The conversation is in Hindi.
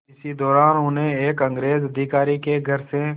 इसी दौरान उन्हें एक अंग्रेज़ अधिकारी के घर से